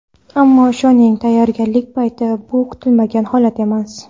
Ammo ishoning, tayyorgarlik paytida bu kutilmagan holat emas.